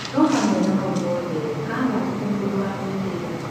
No hamwe na mau mothe, Haaland ti mũndũ wa mwĩtĩo